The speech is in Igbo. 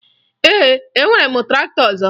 Ee, enwere m traktọ ọzọ